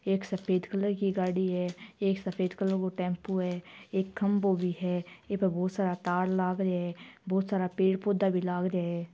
एक सफेद कलर की गाडी है एक सफेद कलर को टेम्पो है एक खम्भों भी है इपे बहुत सारा तार लाग रिया है बहुत सारा पेड़ पौधा भी लाग रिया है।